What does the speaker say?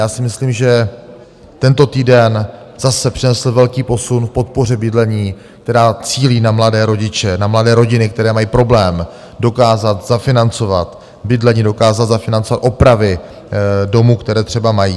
Já si myslím, že tento týden zase přinesl velký posun v podpoře bydlení, která cílí na mladé rodiče, na mladé rodiny, které mají problém dokázat zafinancovat bydlení, dokázat zafinancovat opravy domu, které třeba mají.